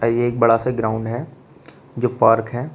और ये एक बड़ा सा ग्राउंड है जो पार्क है।